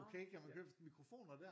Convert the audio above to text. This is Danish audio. Okay kan man købe mikrofoner der?